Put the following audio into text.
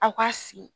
Aw ka sigi